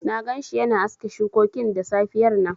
Na gan shi yana aske shukokin da safiyar nan